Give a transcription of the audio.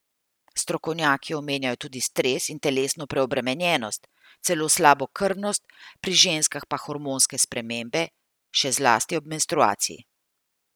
Strokovnjaki omenjajo tudi stres in telesno preobremenjenost, celo slabokrvnost, pri ženskah pa hormonske spremembe, še zlasti ob menstruaciji.